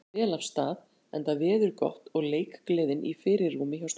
Mótið hefur farið vel af stað enda veður gott og leikgleðin í fyrirrúmi hjá stúlkunum.